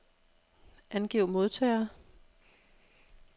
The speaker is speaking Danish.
Angiv modtagere.